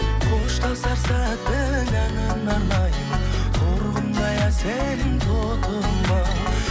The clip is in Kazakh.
қоштасар сәттің әніне арнаймын торғындай әсем тотымау